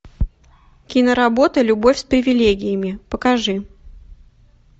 киноработа любовь с привилегиями покажи